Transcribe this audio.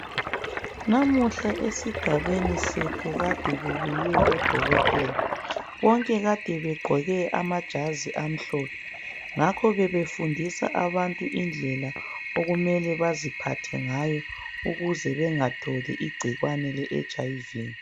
Namuhla esigabeni sethu kade kubuye odokotela. Bonke kade begqoke amajazi amhlophe. Ngakho bebefundisa abantu indlela okumele baziphathe ngayo ukuze bengatholi igcikwane le etshi ayi vi.